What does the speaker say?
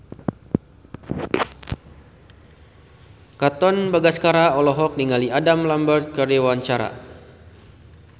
Katon Bagaskara olohok ningali Adam Lambert keur diwawancara